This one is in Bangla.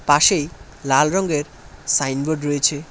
পাশেই লাল রঙ্গের সাইনবোর্ড রয়েছে।